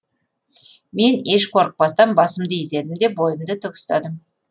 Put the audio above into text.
мен еш қорықпастан басымды изедім де бойымды тік ұстадым